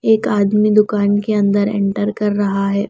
एक आदमी दुकान के अंदर एंटर कर रहा है।